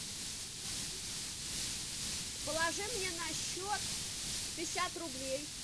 положи мне на счет пятьдесят рублей